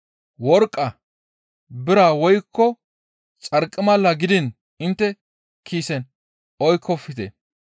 worqqa, bira woykko xarqimala gidiin intte kiisen oykkofte.